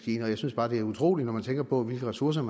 jeg synes bare at det er utroligt når man tænker på hvilke ressourcer